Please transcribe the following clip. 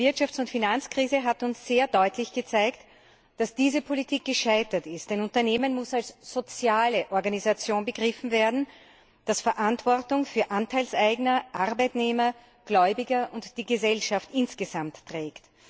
Die Wirtschafts und Finanzkrise hat uns sehr deutlich gezeigt, dass diese Politik gescheitert ist. Ein Unternehmen muss als soziale Organisation begriffen werden, die Verantwortung für Anteilseigner, Arbeitnehmer, Gläubiger und die Gesellschaft insgesamt trägt.